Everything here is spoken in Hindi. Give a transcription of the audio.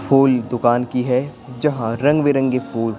फूल दुकान की है जहां रंगबिरंगे फूल --